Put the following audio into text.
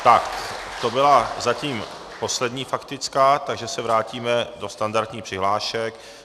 Tak to byla zatím poslední faktická, takže se vrátíme do standardních přihlášek.